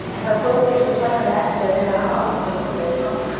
En það tók því svo sannarlega ekki að vera að hafa áhyggjur af svoleiðis smámunum.